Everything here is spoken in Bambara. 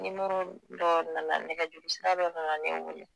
Nimorodɔ nana nɛgɛjugusiradɔ nana ne wele